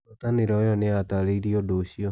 Ngwatanĩro ĩyo nĩ yataarĩirie ũndũ ũcio.